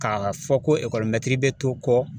Ka ka fɔ ko ekɔlimɛtiri bɛ to kɔ